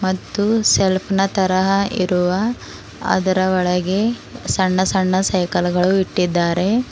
ಮತ್ತು ಸೆಲ್ಫ್ ನ ತರಹ ಇರುವ ಅದರ ಒಳಗೆ ಸಣ್ಣ ಸಣ್ಣ ಸೈಕಲ್ ಗಳು ಇಟ್ಟಿದ್ದಾರೆ.